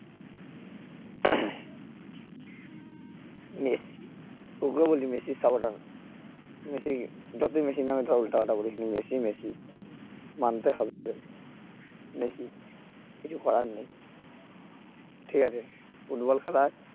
Messi তোকেও বলি মেসির সাপোর্টার হতে মেসির যতই মেসির নামে ধর উল্টাপাল্টা বলুক কিন্তু মেসি মেসি মানতে হবে মেসি কিছু করার নেই ঠিক আছে ফুটবল খেলার